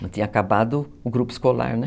Não tinha acabado o grupo escolar, né?